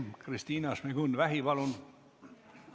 Kristina Šmigun-Vähi, palun!